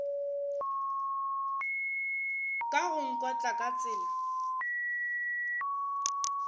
ka go nkotla ka tsela